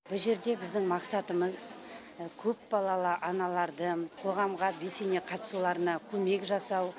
бұ жерде біздің мақсатымыз көпбалалы аналарды коғамға белсене қатысуларына көмек жасау